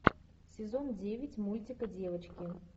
сезон девять мультика девочки